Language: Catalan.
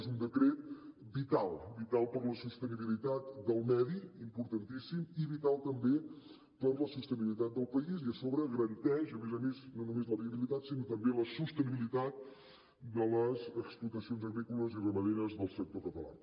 és un decret vital vital per la sostenibilitat del medi importantíssim i vital també per la sostenibilitat del país i a sobre garanteix a més a més no només la viabilitat sinó també la sostenibilitat de les explotacions agrícoles i ramaderes del sector català